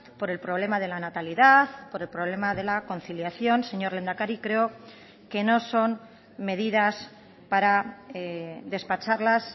por el problema de la natalidad por el problema de la conciliación señor lehendakari creo que no son medidas para despacharlas